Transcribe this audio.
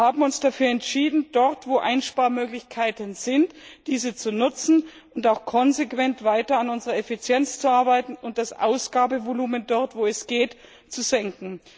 Wir haben uns dafür entschieden, dort, wo Einsparmöglichkeiten sind, diese zu nutzen und auch konsequent weiter an unserer Effizienz zu arbeiten und das Ausgabevolumen dort, wo es geht, zu senken.